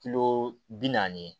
Kilo bi naani